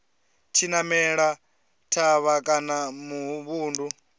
tshi namela thavha kana muvhundu